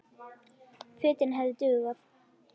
Fötin hefðu dugað.